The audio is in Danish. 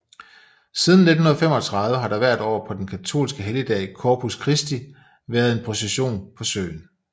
Siden 1935 har der hvert år på den katolske helligdag Corpus Christi væeret en procession på søen